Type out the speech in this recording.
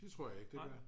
det tror jeg ikke det gør